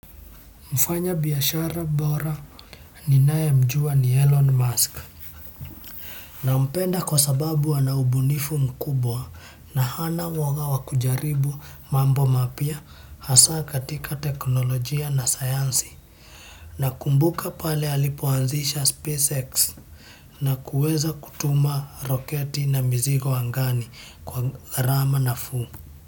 Mfanyabiashara bora ninayemjua ni Elon Musk. Nampenda kwa sababu ana ubunifu mkubwa na hana uwoga wa kujaribu mambo mapya hasa katika teknolojia na sayansi. Nakumbuka pale alipoanzisha SpaceX na kuweza kutuma roketi na mizigo angani kwa gharama nafuu.